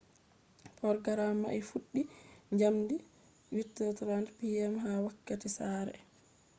porgaram mai fuɗɗi jamdi 8:30 p.m. ha wakkati sare 15.00 utc